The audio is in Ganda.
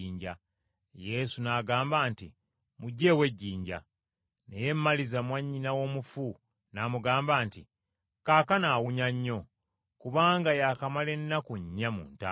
Yesu n’agamba nti, “Muggyeewo ejjinja.” Naye Maliza, mwannyina w’omufu, n’amugamba nti, “Kaakano awunya nnyo, kubanga yaakamala ennaku nnya mu ntaana.”